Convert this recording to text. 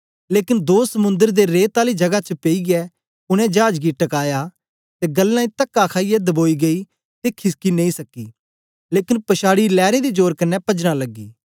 लेकन दो समुंद्र दे रेत् आली जगा च पेईयै उनै चाज गी टकाया ते गल्लें तका खाईयै दबोई गेई ते खिसकी नेई सकी लेकन पछाड़ी लैरें दे जोर कन्ने पजना लगी